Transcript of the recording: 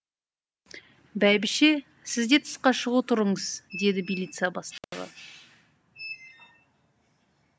бәйбіше сіз де тысқа шыға тұрыңыз деді милиция бастығы